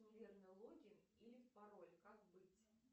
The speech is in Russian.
неверный логин или пароль как быть